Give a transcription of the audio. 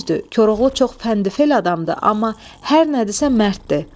Düzdür, Koroğlu çox fənd-fəli adamdır, amma hər nədirsə mərddir.